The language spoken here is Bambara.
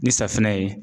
Ni safunɛ ye